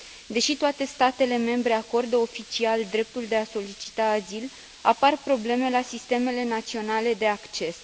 Deși toate statele membre acordă oficial dreptul de a solicita azil, apar probleme la sistemele naționale de acces.